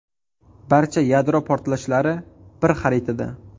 Barcha yadro portlashlari bir xaritada.